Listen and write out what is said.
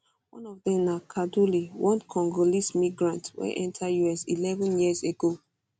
one of dem na kaduli one congolese migrant wey enta us eleven years ago